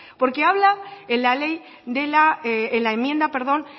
porque hablan en la enmienda